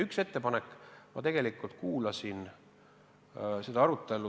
On tehtud üks ettepanek.